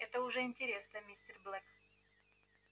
это уже интересно мистер блэк